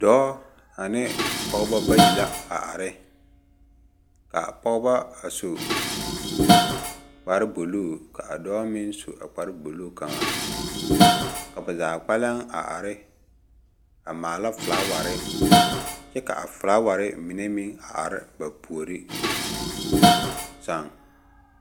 Dɔɔ ane pɔgeba bayi la a are ka a pɔgeba a su kpare bu luu ka dɔɔ meŋ su a kpare buluu kaŋa. Ka ba zaa kpɛlɛŋ a are a maala felaaware kyɛ ka a felaaware mine meŋ a are ba puoriŋ sa. ŋ